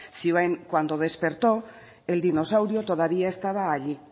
zioen cuando despertó el dinosaurio todavía estaba allí